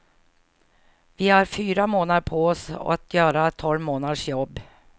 Vi har fyra månader på hos att göra tolv månaders jobb.